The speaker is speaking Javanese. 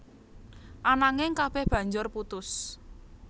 Ananging kabéh banjur putus